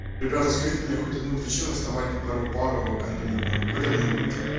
ребята скажите мне хоть одну причину вставать на первую пару к атунюку хоть одну блять